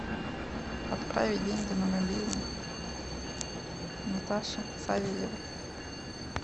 отправить деньги на мобильный наташе савельевой